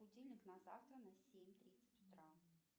будильник на завтра на семь тридцать утра